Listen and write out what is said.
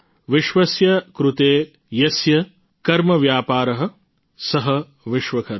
વિશ્વસ્ય કૃતે યસ્ય કર્મવ્યાપારઃ સઃ વિશ્વકર્મા